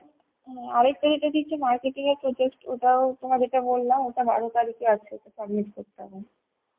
ও~ আরেকটা যেটা দিচ্ছে marketing এর project ওটাও তোমায় যেটা বল্লাম ওটা বারো তারিখে আছে ওটা submit করতে হবে.